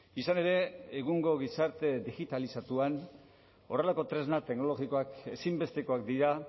izan ere egungo gizarte digitalizatuan horrelako tresna teknologikoak ezinbestekoak dira